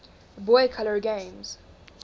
boy color games